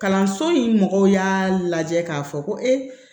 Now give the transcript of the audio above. Kalanso in mɔgɔw y'a lajɛ k'a fɔ ko